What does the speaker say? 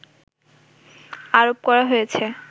আরোপ করা হয়েছে